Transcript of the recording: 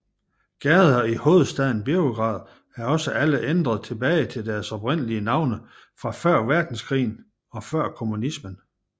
Gader i hovedstaden Beograd er også alle ændret tilbage til deres oprindelige navne fra før verdenskrigen og før kommunismen